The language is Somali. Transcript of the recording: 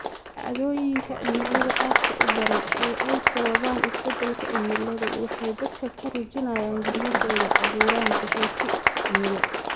Dhacdooyinka cimilada aadka u daran ee ay sababaan isbeddelka cimiladu waxay dadka ka rujinayaan guryahooda, abuuraan qaxooti cimilo.